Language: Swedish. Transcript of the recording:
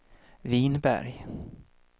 Vinberg